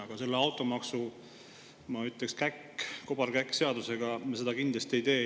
Aga selle automaksu, ma ütleksin, kobarkäkkseadusega me seda kindlasti ei tee.